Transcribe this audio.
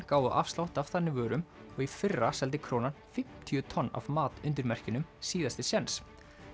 gáfu afslátt af þannig vörum og í fyrra seldi Krónan fimmtíu tonn af mat undir merkjunum síðasti séns